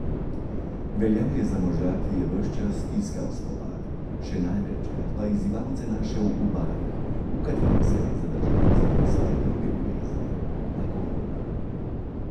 Veljal je za moža, ki je ves čas iskal spopad, še največkrat pa izzivalce našel v barih, v katerih se je zadrževal zaradi svoje druge ljubezni, alkohola.